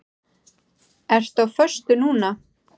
Ertu á föstu núna?